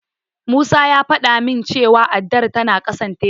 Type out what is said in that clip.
Musa ya faɗa min cewa addar tana ƙasan tebur.